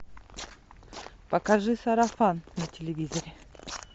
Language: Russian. покажи сарафан на телевизоре